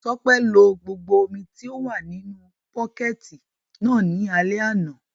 Tọ́pẹ́ lo gbogbo omi tí ó wà nínu bọ́kẹ̀tì náà ní alẹ́ àná